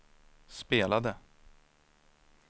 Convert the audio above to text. spelade